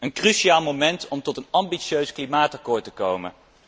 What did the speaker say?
Een cruciaal moment om tot een ambitieus klimaatakkoord te komen.